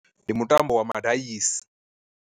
Ndi mutambo wa madaisi.